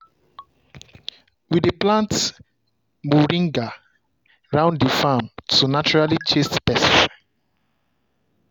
we dey plant moringa round the farm to naturally chase pest.